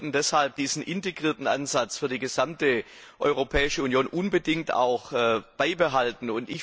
Wir sollten deshalb auch diesen integrierten Ansatz für die gesamte Europäische Union unbedingt beibehalten.